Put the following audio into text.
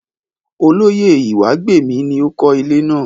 Olóyè Ìwágbèmí ni ó kó ilé náà.